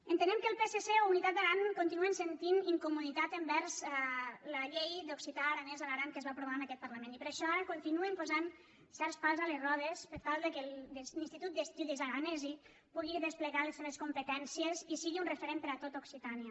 entenem que el psc o unitat d’aran continuen sentint incomoditat envers la llei de l’occità aranès a l’aran que es va aprovar en aquest parlament i per això ara continuen posant certs pals a les rodes per tal que l’institut d’estudis aranesi pugui desplegar les seves competències i sigui un referent per a tot occitània